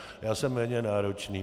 Já jsem méně náročný.